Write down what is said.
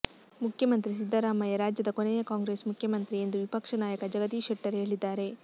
ಮುಖ್ಯಮಂತ್ರಿ ಸಿದ್ದರಾಮಯ್ಯ ರಾಜ್ಯದ ಕೊನೆಯ ಕಾಂಗ್ರೆಸ್ ಮುಖ್ಯಮಂತ್ರಿ ಎಂದು ವಿಪಕ್ಷ ನಾಯಕ ಜಗದೀಶ್ ಶೆಟ್ಟರ್ ಹೇಳಿದ್ದಾರೆ